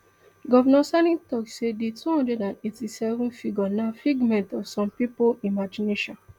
govnor sani tok say di two hundred and eighty-seven figure na figments of some pipo imagination